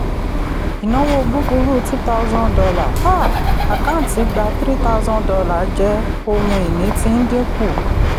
ìnáwó búburú two thousand dollar um àkáǹtí gbà three thousand dollar jẹ́ ohun ìní tí ń dínkù.